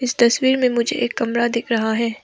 इस तस्वीर में मुझे एक कमला दिख रहा है।